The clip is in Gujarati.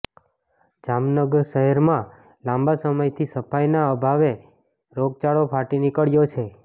જામનગ શહેરમાં લાંબા સમયથી સફાઈના આભાવે રોગચાળો ફાટી નીકળ્યો છે